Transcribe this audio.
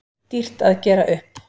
Dýrt að gera upp